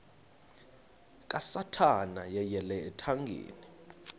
kasathana yeyele ethangeni